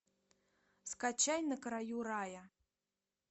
скачай на краю рая